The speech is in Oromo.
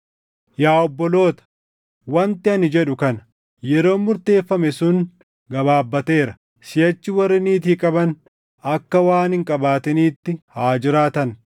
Yaa obboloota, wanti ani jedhu kana; yeroon murteeffame sun gabaabateera; siʼachi warri niitii qaban akka waan hin qabaatiniitti haa jiraatan;